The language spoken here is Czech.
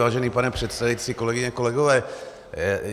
Vážený pane předsedající, kolegyně, kolegové.